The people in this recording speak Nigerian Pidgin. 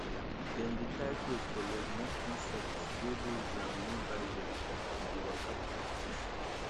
dem dey tie cloth for leg make insects wey dey ground no bite dem as dem bin dey waka for bush